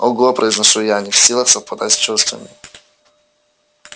ого произношу я не в силах совладать с чувствами